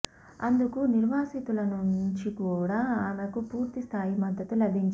అందుకు నిర్వాసితుల నుంచి కూడా ఆమెకు పూర్థి స్థాయి మద్దతు లభించింది